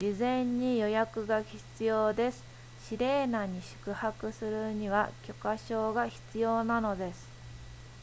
事前に予約が必要ですシレーナに宿泊するには許可証が必要なのです